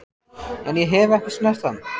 En ég hef ekki snert hann.